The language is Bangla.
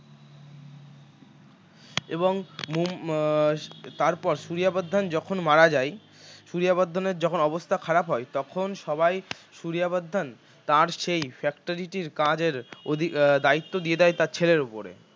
এবংমুম আহ তারপর সূরিয়া বর্ধন যখন মারা যায় সূরিয়া বর্ধন এর যখন অবস্থা খারাপ হয় তখন সবাই সূরিয়া বর্ধন তাঁর সেই factory টির কাজের অধি দায়িত্ব দিয়ে দেয় তাঁর ছেলের উপরে